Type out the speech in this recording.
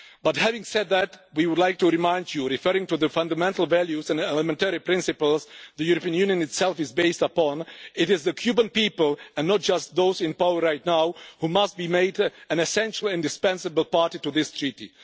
But having said that, we would like to remind you, referring to the fundamental values and elementary principles the European Union itself is based upon it is the Cuban people and not just those in power right now who must be an essential and indispensable party to this treaty.